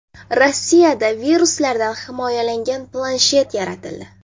Rossiyada viruslardan himoyalangan planshet yaratildi.